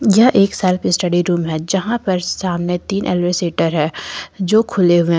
यह एक self study room है जहां पर सामने तीन एलवरशिटर हैं जो खुले है।